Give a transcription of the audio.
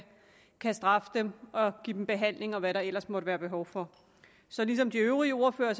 kan straffe dem og give dem behandling og hvad der ellers måtte være behov for så ligesom de øvrige ordførere